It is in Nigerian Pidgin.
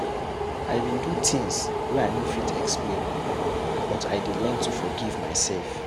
I bin do tins wey I no fit explain but I dey learn to forgive mysef.